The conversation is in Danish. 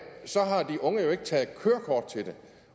jo ikke taget kørekort til det